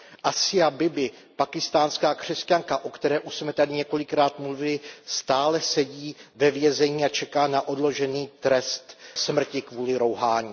Asia Bibiová, pákistánská křesťanka, o které už jsme tady několikrát mluvili, stále sedí ve vězení a čeká na odložený trest smrti kvůli rouhání.